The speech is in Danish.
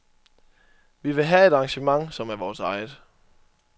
Vi vil have et arrangement, som er vores eget.